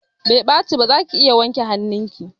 Bai ɓaci ba, zaki iya wanke hanun ki